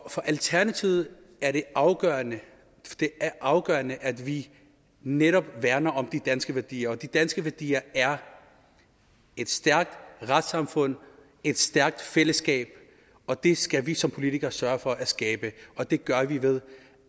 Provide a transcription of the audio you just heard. alternativet er det afgørende afgørende at vi netop værner om de danske værdier og de danske værdier er et stærkt retssamfund og et stærkt fællesskab og det skal vi som politikere sørge for at skabe og det gør vi ved